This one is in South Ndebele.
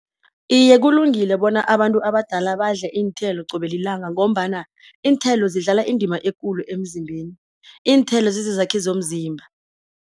Iye kulungile bona abantu abadala badle iinthelo qobe lilanga, ngombana iinthelo zidlala indima ekulu emzimbeni, iinthelo zizizakhi zomzimba.